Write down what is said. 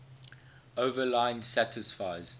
overline satisfies